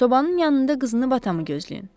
Sobanın yanında qızınıb atamı gözləyin.